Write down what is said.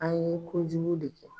A ye kojugu de kɛ.